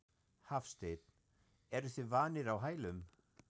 Hafsteinn: Eruð þið vanir á hælum?